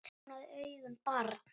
Opnaðu augun barn!